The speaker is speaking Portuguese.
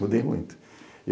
Mudei muito.